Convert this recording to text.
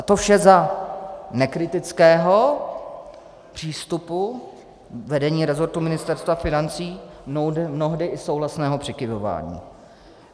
A to vše za nekritického přístupu vedení resortu Ministerstva financí, mnohdy i souhlasného přikyvování.